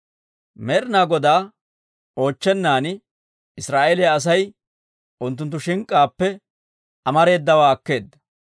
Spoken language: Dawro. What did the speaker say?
Med'ina Godaa oochchennan, Israa'eeliyaa Asay unttunttu shink'k'aappe amareedawaa akkeedda.